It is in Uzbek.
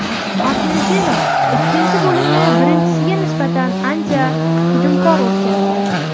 Argentina ikkinchi bo‘limni birinchisiga nisbatan ancha hujumkor o‘tkazdi.